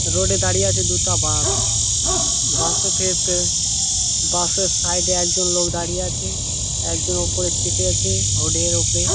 Road এ দাঁড়িয়ে আছে দুটা বাস । বাস এ ফে ফে বাস আর সাইড এ একজন লোক দাঁড়িয়ে আছে একজন ওপরে চেপে আছে হুডের ওপরে ।